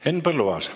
Henn Põlluaas.